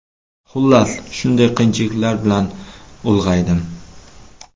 Xullas, shunday qiyinchiliklar bilan ulg‘aydim.